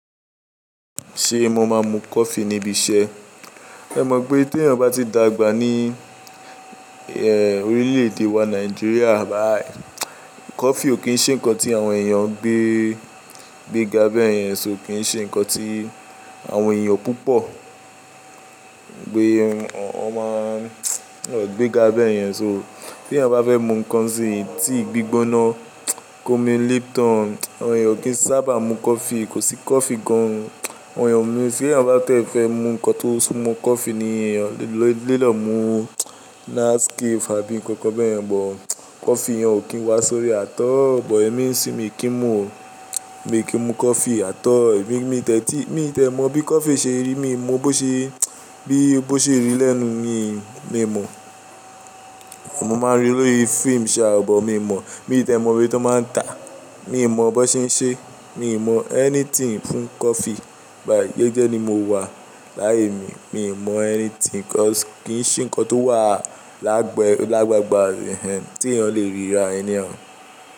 Ṣé mo máa mu coffee níbi iṣẹ́? Ẹ mọ pé tí èèyàn bá ti dàgbà ní orílẹ̀-èdè wa Nigeria báyìí, coffee ò kí ń ṣe nǹkan tí àwọn èèyàn gbé, gbéga bẹ́ẹ̀ yẹn so kí n ṣe nǹkan tí àwọn èèyàn púpọ̀ gbé, wọn máa gbéga bẹ́ẹ̀ yẹn so. Tí èèyàn bá fẹ́ mu nǹkan sí ti gbígbóná ko mi Lipton, àwọn èèyàn kìí sábà mu coffee, kò sí coffee gan-an. Àwọn èèyàn mi, tí èèyàn bá tẹ́ fẹ́ mu nǹkan tó sumọ coffee ni èèyàn lé lò mú Nescafe àbí nǹkan bẹ́ẹ̀ yẹn, bọ̀ coffee yan ò kí ń wá sórí àtọ́. Bọ̀ ẹ̀mí sì mi kì í mu, mi kì í mu coffee. Àtọ́ ẹ̀mí mi tẹ́tí, mi ò tẹ mọ bí coffee ṣe rí, mi ò mọ bó ṣe, bí ó ṣe rí lẹ́nu mi, mi ò mọ̀. Mo máa rí i lórí fíìmù ṣà, bọ̀ mi ò mọ̀. Mi ò tẹ mọ ibi tó máa ń tàá, mi ò mọ bó ṣe ń ṣe, mi ò mọ anything fún coffee báyìí. Jẹ́jẹ́ ni mo wà láyé mi, mi ò mọ anything, coffee kìí ṣe nǹkan tó wà lágbẹ, lágbàgbà tíyàn tí èèyàn lè ríra anyhow.